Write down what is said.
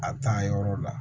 A taa yɔrɔ la